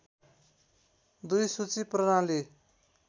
२ सूची प्रणाली